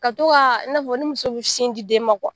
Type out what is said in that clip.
Ka to Ka, i na fɔ ni muso bi sin di den ma